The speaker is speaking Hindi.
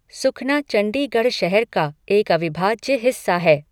सुखना चंडीगढ़ शहर का एक अविभाज्य हिस्सा है।